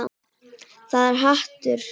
Þetta er hatur.